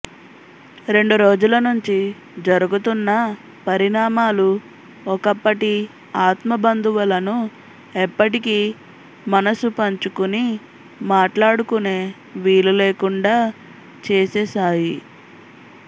రెండురోజులనుంచి జరుగుతున్న పరిణామాలు ఒకప్పటి ఆత్మబంధువులను ఎప్పటికీ మనసు పంచుకుని మాట్లాడుకునే వీలులేకుండా చేసేశాయి